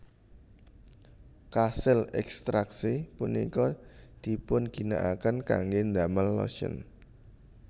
Kasil ekstraksi punika dipunginakaken kangge damel lotion